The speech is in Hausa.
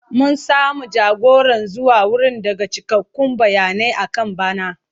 Mun samu jagora zuwa wurin daga cikakkun bayanai akan bana.